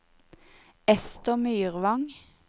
Ester Myrvang